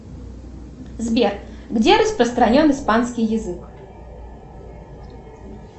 сбер где распространен испанский язык